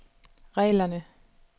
reglerne